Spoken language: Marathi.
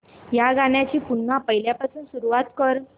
या गाण्या ची पुन्हा पहिल्यापासून सुरुवात कर